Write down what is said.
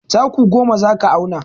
Taku goma za ka auna.